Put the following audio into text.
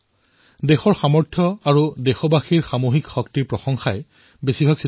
অধিকাংশ চিঠিত জনসাধাৰণে দেশৰ সামৰ্থ দেশবাসীৰ সামূহিক শক্তিৰ ভৰপূৰ প্ৰশংসা কৰিছে